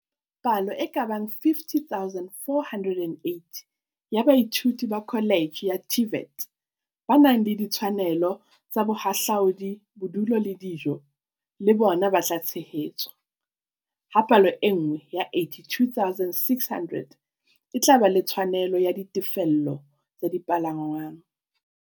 Palo e ka bang 50 480 ya baithuti ba kholetjhe ya TVET, ba nang le ditshwanelo tsa bohahlaudi, bodulo le dijo, le bona ba tla tshehetswa, ha palo e nngwe ya 82 600 e tla ba le tshwanelo ya ditefello tsa dipalangwang.